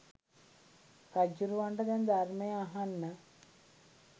රජ්ජුරුවන්ට දැන් ධර්මය අහන්න